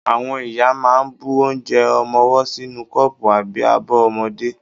Àwọn ìyá máa ń bu onje ọmọwọ́ sínú kọ́pù àbí abọ́ ọmọdé.